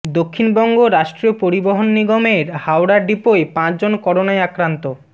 দক্ষিণবঙ্গ রাষ্ট্রীয় পরিবহণ নিগমের হাওড়া ডিপোয় পাঁচজন করোনায় আক্রান্ত